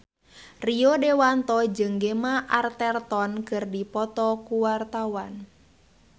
Rio Dewanto jeung Gemma Arterton keur dipoto ku wartawan